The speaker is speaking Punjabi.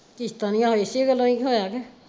ਕਿਸ਼ਤਾਂ ਨਹੀਂ ਆਹ ਇਸੇ ਗੱਲੋਂ ਹੀ ਹੋਇਆ ਕ।